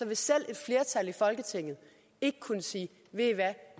vil selv et flertal i folketinget ikke kunne sige ved i hvad